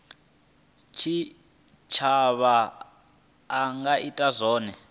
tshitshavha a nga ita zwone